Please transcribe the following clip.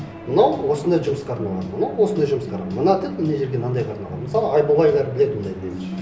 мынау осындай жұмысқа арналған мынау осындай жұмысқа арналған мына тіл мына жерге мынандайға арналған мысалы